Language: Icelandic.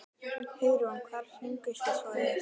Hugrún: Hvar fenguð þið svoleiðis?